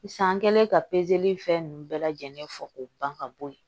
San kɛlen ka pezeli in fɛn ninnu bɛɛ lajɛlen fɔ k'o ban ka bɔ yen